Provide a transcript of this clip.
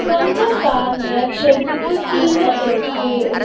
கொஞ்ச காருங்க செட்டுக்கு கீழ இருக்கு.